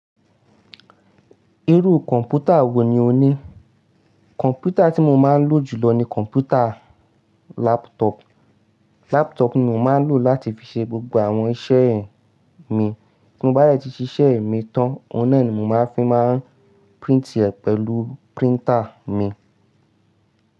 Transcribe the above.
Irú kọ̀m̀pútà wò ní o ní? Kọ̀m̀pútà tí mo máa ń lò jùlọ ni kọ̀m̀pútà laptọ́ọ̀pù. Laptọ́ọ̀pù ni mo máa ń lò láti fi ṣe gbogbo àwọn iṣẹ́ mi. Bí mo bá dẹ̀ ti ṣíṣe mi tán, ohun nà ni mo máa n fi máa ń print ẹ pẹ̀lú printer mi.